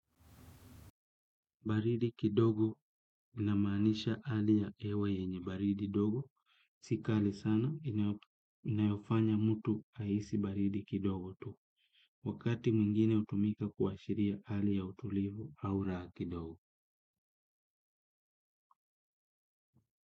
Baridi kidogo ina manisha hali ya hewa yenye baridi dogo. Si kali sana inayofanya mtu ahisi baridi kidogo tu. Wakati mwingine hutumika kuashiria hali ya utulivu au raha kidogo.